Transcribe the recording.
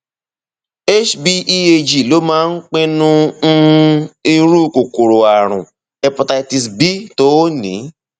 hbeag ló máa ń pinnu um irú kòkòrò ààrùn hepatitis b tó o ní